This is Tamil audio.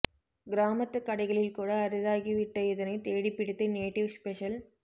கிராமத்துக் கடைகளில் கூட அரிதாகி விட்ட இதனை தேடித் பிடித்து நேட்டிவ்ஸ்பெஷல்